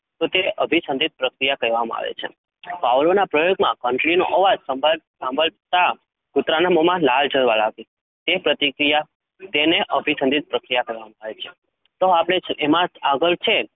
તો તેને અભિસંધિત પ્રક્રિયા કહેવામાં આવે છે. Pavlov ના પ્રયોગમાં ઘંટડીનો અવાજ સંભાળતા સાંભળતા કુતરાના મોમાં લાળ જરવા લાગી તે પ્રતિક્રિયા તેને અભિસંધિત પ્રક્રિયા કહેવામાં આવે છે. તો આપડે એમાં આગળ છે